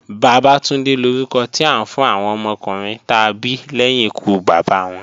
Bàbátúndé lórúkọ tí à ń fún àwọn ọmọkùnrin ta bí lẹ́yìn ikú Bàbá wọn.